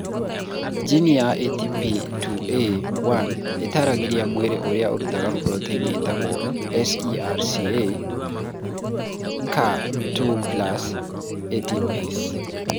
Geni ya ATP2A1 ĩtaaragĩria mwĩrĩ ũrĩa ũrutaga proteini ĩtagwo SERCA Ca2+) ATPase.